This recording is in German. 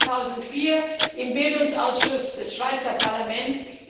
Ich war 2004 im Bildungsausschuss des Schweizer Parlaments.